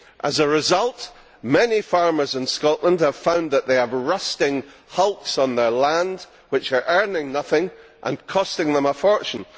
As a result, many farmers in Scotland have found that they have rusting hulks on their land which are earning nothing and costing them a fortune.